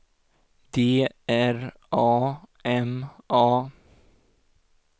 D R A M A